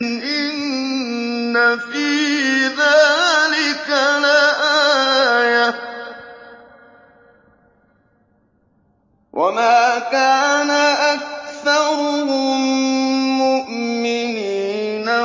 إِنَّ فِي ذَٰلِكَ لَآيَةً ۖ وَمَا كَانَ أَكْثَرُهُم مُّؤْمِنِينَ